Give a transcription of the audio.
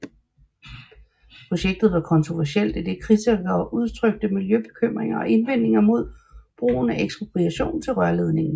Projektet var kontroversielt idet kritikere udtrykte miljøbekymringer og indvendinger mod brugen af ekspropriation til rørledningen